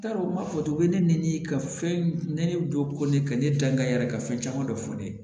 T'a dɔn u m'a fɔ u bɛ ne ni ka fɛn ne dɔ ka ne dankɛ yɛrɛ ka fɛn caman dɔ fɔ ne ye